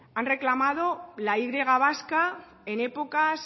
han reclamado la y vasca en épocas